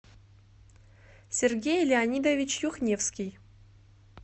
сергей леонидович юхневский